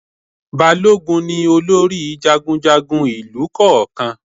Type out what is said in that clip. Balógun ni olórí jagunjagun ìlù kọ̀ọ̀kan